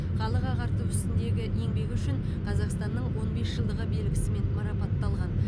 халық ағарту ісіндегі еңбегі үшін қазақстанның он бес жылдығы белгісімен марапатталған